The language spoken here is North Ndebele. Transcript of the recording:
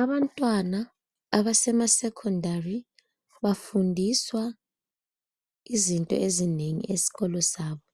Abantwana abasemaSekhondari bafundiswa izinto ezinengi eskolo sabo